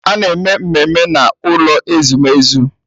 A na-eme mmemme n'ụlọ ezumezu.